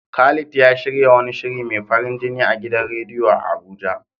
Khalid ya shirya wani shiri mai farin jini a gidan radiyo a Abuja.